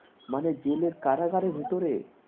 মানে জেলের কারাগারের ভিতরে